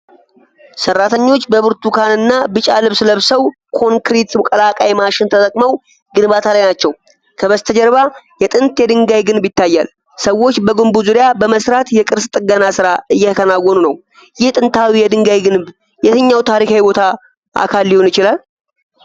ሠራተኞች በብርቱካንና ቢጫ ልብስ ለብሰው ኮንክሪት ቀላቃይ ማሽን ተጠቅመው ግንባታ ላይ ናቸው። ከበስተጀርባ የጥንት የድንጋይ ግንብ ይታያል። ሰዎች በግንቡ ዙሪያ በመሥራት የቅርስ ጥገና ሥራ እየተከናወነ ነው። ይህ ጥንታዊ የድንጋይ ግንብ የትኛው ታሪካዊ ቦታ አካል ሊሆን ይችላል?